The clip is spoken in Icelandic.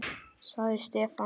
sagði Stefán.